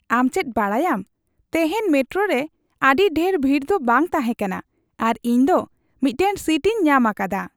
ᱟᱢ ᱪᱮᱫ ᱵᱟᱰᱟᱭᱟᱢ, ᱛᱮᱦᱮᱧ ᱢᱮᱴᱨᱳ ᱨᱮ ᱟᱹᱰᱤ ᱰᱷᱮᱨ ᱵᱷᱤᱲ ᱫᱚ ᱵᱟᱝ ᱛᱟᱦᱮᱸ ᱠᱟᱱᱟ ᱟᱨ ᱤᱧ ᱫᱚ ᱢᱤᱫᱴᱟᱝ ᱥᱤᱴ ᱤᱧ ᱧᱟᱢ ᱟᱠᱟᱫᱟ ᱾